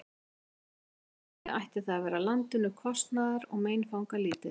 Hvort heldur sem væri, ætti það að vera landinu kostnaðar- og meinfangalítið.